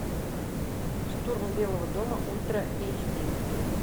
штурм белого дома ультра эйч ди